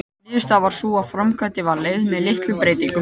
Niðurstaðan varð sú að framkvæmdin var leyfð með litlum breytingum.